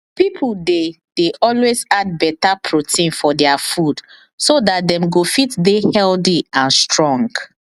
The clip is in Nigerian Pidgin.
people dey dey always add better protein for their food so dat dem go fit dey healthy and strong